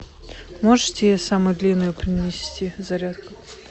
можете самую длинную принести зарядку